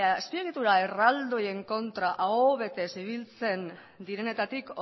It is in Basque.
azpiegitura erraldoien kontra aho betez ibiltzen direnetatik